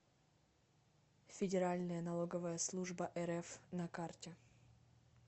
федеральная налоговая служба рф на карте